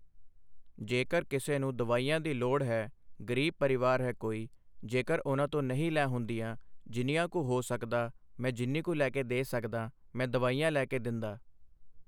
ਜੇਕਰ ਕਿਸੇ ਨੂੰ ਦਵਾਈਆਂ ਦੀ ਲੋੜ ਹੈ ਗਰੀਬ ਪਰਿਵਾਰ ਹੈ ਕੋਈ ਜੇਕਰ ਉਨ੍ਹਾਂ ਤੋ ਨਹੀਂ ਲੈ ਹੁੰਦੀਆਂ ਜਿੰਨੀਆਂ ਕੁ ਹੋ ਸਕਦਾ ਮੈੈਂ ਜਿੰਨੀ ਕੁ ਲੈ ਕੇ ਦੇ ਸਕਦਾ ਮੈਂ ਦਵਾਈਆਂ ਲੈ ਕੇ ਦਿੰਦਾ